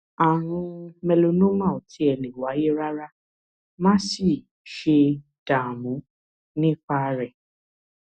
ààrùn melanoma ò tiẹ̀ lè wáyé rárá má sì ṣe dààmú nípa rẹ̀